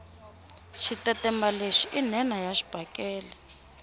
xitetemba lexi i nhenha ya xibakele